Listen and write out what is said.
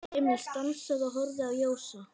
Emil stansaði og horfði á Jósa.